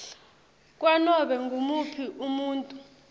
kwanobe ngumuphi umuntfu